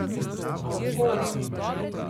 A od koga?